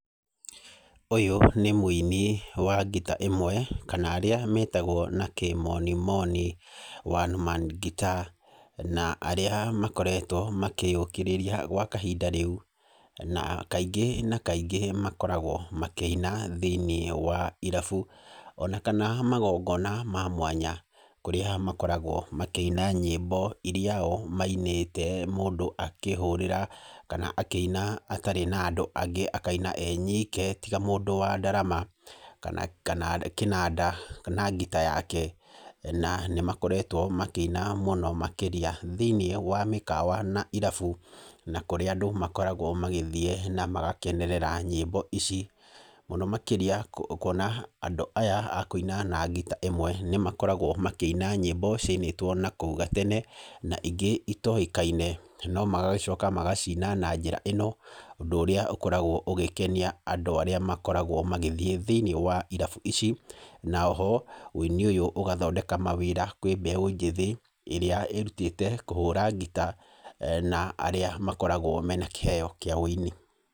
Ũyũ nĩ mũini wa ngita ĩmwe kana arĩa metagwo na kĩmonimoni One man guitar na arĩa makoretwo makĩyũkĩrĩria gwa kahinda rĩu. Na kaingĩ na kaingĩ makoragwo makĩina thĩiniĩ wa irabu ona kana magongona na mwanya. Kũrĩa makoragwo makĩina nyĩmbo irĩa o mainĩte mũndũ akĩhũũrĩra kana akĩina atarĩ na andũ angĩ, akaina e nyike tiga mũndũ wa ndarama kana kĩnanda kana ngita yake. Na nĩ makoretwo makĩina mũno makĩria thĩiniĩ wa mĩkawa na irabu, na kũrĩa andũ makoragwo magĩthiĩ na magakenerera nyĩmbo ici. Mũno makĩria kuona andũ aya a kũina na ngita ĩmwe, nĩ makoragwo makĩina nyĩmbo ciainĩtwo na kũu gatene, na ingĩ itoĩkaine. No magacoka magaciina na njĩra ĩno, ũndũ ũrĩa ũkoragwo ũgĩkenia andũ arĩa makoragwo magĩthiĩ thĩiniĩ wa irabu ici. Na o ho ũini ũyũ ũgathondeka mawĩra kwĩ mbeũ njĩthĩ, ĩrĩa ĩrutĩte kũhũra ngita na arĩa makoragwo mena kĩheo kĩa ũini.